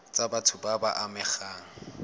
tsa batho ba ba amegang